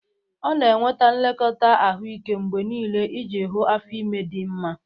Ọ na-enweta nlekọta ahụike mgbe niile iji hụ afọ ime di nma.